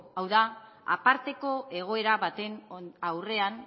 hau da aparteko egoera baten aurrean